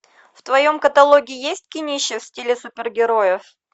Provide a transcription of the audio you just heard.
в твоем каталоге есть кинище в стиле супергероев